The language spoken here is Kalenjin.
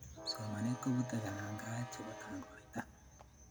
somanet koputei kangangaet chepo tangoita